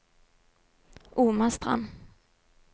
Omastrand